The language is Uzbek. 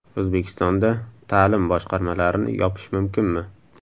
O‘zbekistonda ta’lim boshqarmalarini yopish mumkinmi?.